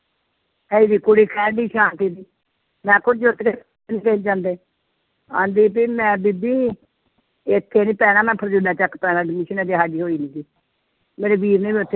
ਇਹ ਜਿਹੀ ਕੁੜੀ ਆਉਂਦੀ ਵੀ ਮੈਂ ਬੀਬੀ ਇੱਥੇ ਨੀ ਪੈਣਾ ਮੈਂ ਚੱਕ ਪੇਣਾ admission ਹਜੇ ਹਾਲੇ ਹੋਈ ਨੀ ਸੀ ਮੇਰੇ ਵੀਰ ਨੇ ਵੀ ਉੱਥੇ